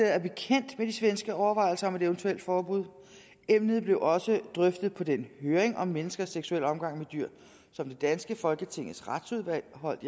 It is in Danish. er bekendt med de svenske overvejelser om et eventuelt forbud emnet blev også drøftet på den høring om menneskers seksuelle omgang med dyr som det danske folketings retsudvalg holdt